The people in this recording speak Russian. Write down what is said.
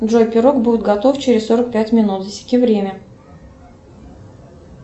джой пирог будет готов через сорок пять минут засеки время